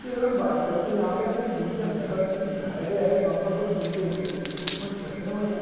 कि अगर हम बात करें तो यहाँ पे हमें एक जिम के अंदर का सीन दिखाया गया है जहाँ पर कुछ जिम के इक्व इक्विपमेंट्स रखे हुए हैं।